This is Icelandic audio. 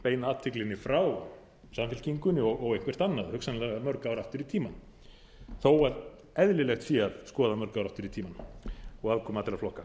beina athyglinni frá samfylkingunni og eitthvert annað hugsanlega mörg ár aftur í tímann þó að eðlilegt sé að skoða mörg ár aftur í tímann og aðkomu allra flokka